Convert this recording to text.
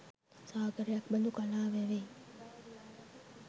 සාගරයක් බඳු කලා වැවේ